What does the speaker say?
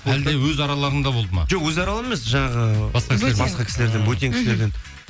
әлде өз араларыңда болды ма жоқ өз араларымыз емес жаңағы бөтен кісілерден